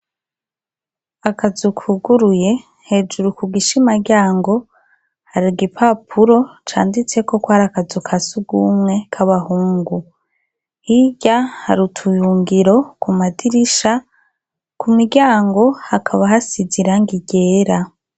Akazu kuguruye hejuru ku gishima ryango hari igipapuru canditseko ko ari akazu ka sugumwe ka bahungu hirya hari utuyungiro ku madirisha ku miryango hakaba hasize irangi ryera.